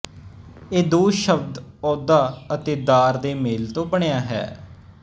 ਇਹ ਦੋ ਸ਼ਬਦ ਅਹੁਦਾ ਅਤੇ ਦਾਰ ਦੇ ਮੇਲ ਤੋਂ ਬਣਿਆ ਹੈ